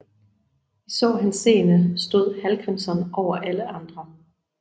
I så henseende stod Hallgrímsson over alle andre